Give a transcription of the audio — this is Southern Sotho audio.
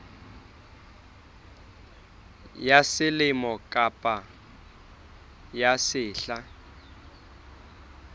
ya selemo kapa ya sehla